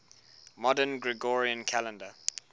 modern gregorian calendar